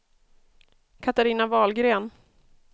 Katarina Wahlgren